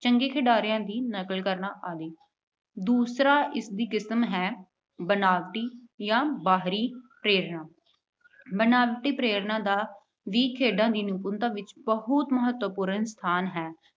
ਚੰਗੇ ਖਿਡਾਰੀਆਂ ਦੀ ਨਕਲ ਕਰਨਾ ਆਦਿ। ਦੂਸਰਾ ਇਸਦੀ ਕਿਸਮ ਹੈ- ਬਨਾਵਟੀ ਜਾਂ ਬਾਹਰੀ ਪ੍ਰੇਰਨਾ- ਬਨਾਵਟੀ ਪ੍ਰੇਰਨਾ ਦਾ ਵੀ ਖੇਡਾਂ ਦੀ ਨਿਪੁੰਨਤਾ ਵਿੱਚ ਮਹਤਵਪੂਰਨ ਸਥਾਨ ਹੈ।